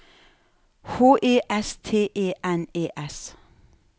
H E S T E N E S